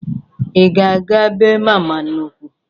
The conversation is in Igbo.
Ị ga-aga bee mama nnụkwụ?